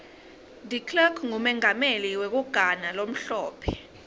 declerk ngumengameli wekugana lomhlophe